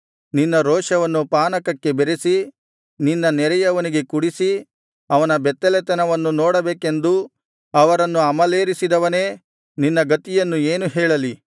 ನಿನ್ನ ರೋಷವನ್ನು ಪಾನಕಕ್ಕೆ ಬೆರಸಿ ನಿನ್ನ ನೆರೆಯವನಿಗೆ ಕುಡಿಸಿ ಅವನ ಬೆತ್ತಲೆತನವನ್ನು ನೋಡಬೇಕೆಂದು ಅವರನ್ನು ಅಮಲೇರಿಸಿದವನೇ ನಿನ್ನ ಗತಿಯನ್ನು ಏನು ಹೇಳಲಿ